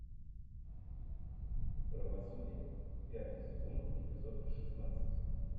правосудие пятый сезон эпизод шестнадцать